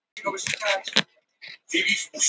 Við þetta sleppti gammurinn honum.